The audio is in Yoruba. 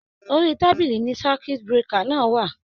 Orí tábìlì ni circuit breaker náà wà.